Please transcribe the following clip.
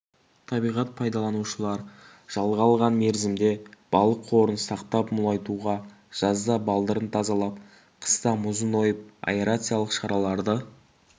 табиғат пайдаланушылар жалға алған мерзімде балық қорын сақтап-молайтуға жазда балдырын тазалап қыста мұзын ойып аэрациялық шараларды